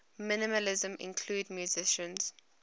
minimalism include musicians